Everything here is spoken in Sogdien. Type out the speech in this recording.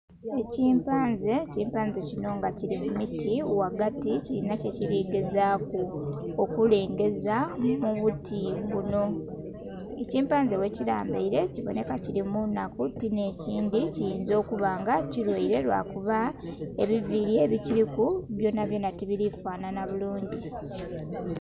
Ekimpanze, ekimpanze kino nga kili mu miti ghagati kilinha kyekili gezaaku okulengeza mu buti buno. Ekimpanze bwekilambaile kibonheka kili mu naku ti nekindhi kiyinza okuba nga kilwaile lwa kuba ebiviili ebikiliku byonabyona ti bili fanhanha bulungi.